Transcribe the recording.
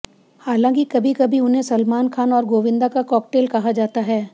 हालांकि कभी कभी उन्हें सलमान खान और गोविंदा का कॉकटेल कहा जाता है